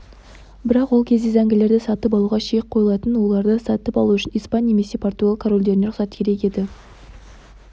бірақ ол кезде зәңгілерді сатып алуға шек қойылатын оларды сатып алу үшін испан немесе португал корольдерінен рұқсат керек еді